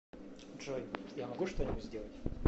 джой я могу что нибудь сделать